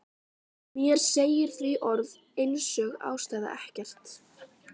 Mér segir því orð einsog ástæða ekkert.